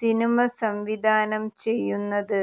cinema സംവിധാനം ചെയ്യുന്നത്